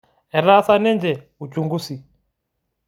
Etaasa ninche uchungusi